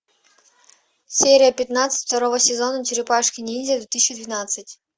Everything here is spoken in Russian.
серия пятнадцать второго сезона черепашки ниндзя две тысячи двенадцать